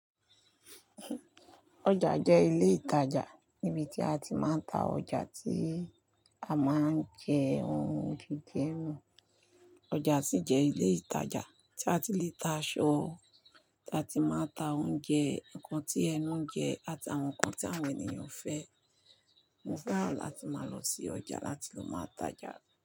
Ọjà jẹ́ ilé ìtajà níbi tí a ti máa ń ta ọjà tí a máa ń jẹ, ohun gígbẹ́ ẹnu. Ọjà sì jẹ́ ilé ìtajà tí a ti lè ta aṣọ, tí a ti máa ń ta oúnjẹ, ǹkan tí ẹnu ń jẹ àti àwọn nǹkan tí àwọn ènìyàn fẹ́. Mo fẹ́ràn láti máa lọ sí ọjà láti ló máa tajà.